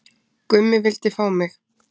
Gummi vildi fá mig